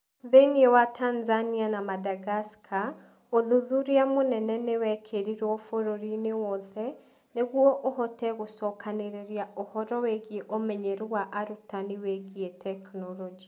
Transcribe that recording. Thĩinĩ wa Tanzania na Madagascar, ũthuthuria mũnene nĩ wekĩrirũo bũrũri-inĩ wothe nĩguo ũhote gũcokanĩrĩria ũhoro wĩgiĩ ũmenyeru wa arutani wĩgiĩ tekinolonjĩ.